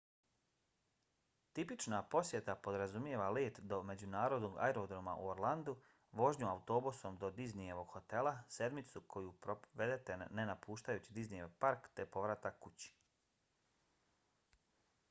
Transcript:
tipična posjeta podrazumijeva let do međunarodnog aerodroma u orlandu vožnju autobusom do disneyevog hotela sedmicu koju provedete ne napuštajući disneyev park te povratak kući